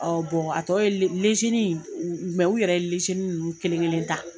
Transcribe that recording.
a tɔ ye le ni mɛ u yɛrɛ ye ni ninnu kelen kelen ta.